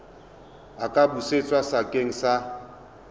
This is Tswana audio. a ka busetswa sekeng sa